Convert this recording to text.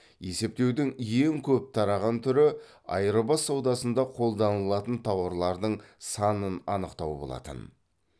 есептеудің ең көп тараған түрі айырбас саудасында қолданылатын тауарлардың санын анықтау болатын